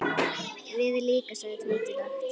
Við líka sagði Tóti lágt.